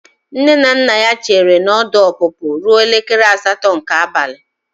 Nne na nna ya chere na ọdụ ọpụpụ ruo elekere asatọ nke abalị.